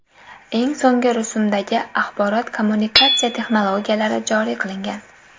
Eng so‘nggi rusumdagi axborot-kommunikatsiya texnologiyalari joriy qilingan.